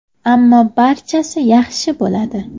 Ammo barchasi yaxshi bo‘ladi.